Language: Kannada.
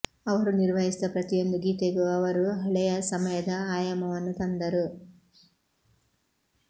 ಅವರು ನಿರ್ವಹಿಸಿದ ಪ್ರತಿಯೊಂದು ಗೀತೆಗೂ ಅವರು ಹಳೆಯ ಸಮಯದ ಆಯಾಮವನ್ನು ತಂದರು